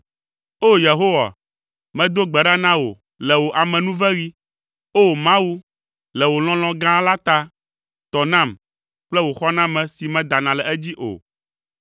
O! Yehowa, medo gbe ɖa na wò le wò amenuveɣi; O! Mawu, le wò lɔlɔ̃ gã la ta, tɔ nam kple wò xɔname si medana le edzi o.